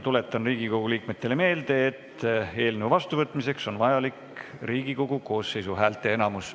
Tuletan Riigikogu liikmetele meelde, et eelnõu vastuvõtmiseks on vajalik Riigikogu koosseisu häälteenamus.